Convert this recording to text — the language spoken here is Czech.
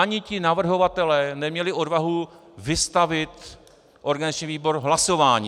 Ani ti navrhovatelé neměli odvahu vystavit organizační výbor hlasování.